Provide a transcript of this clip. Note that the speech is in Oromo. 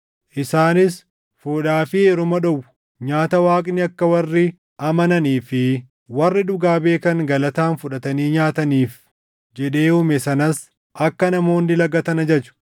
Isaanis fuudhaa fi heeruma dhowwu; nyaata Waaqni akka warri amananii fi warri dhugaa beekan galataan fudhatanii nyaataniif jedhee uume sanas akka namoonni lagatan ajaju.